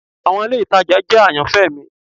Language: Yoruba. Awọn ile itaja jẹ ayanfẹ mi